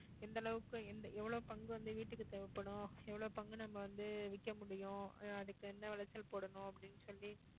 எந்த அளவுக்கு எவ்வளவு பங்கு வந்து வீட்டுக்கு தேவைப்படும் எவ்வளவு பங்கு நம்ம வந்து விக்க முடியும் அதுக்கு எந்த விளைச்சல் போடணும் அப்படின்னு சொல்லி